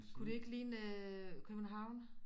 Kunne det ikke ligne øh København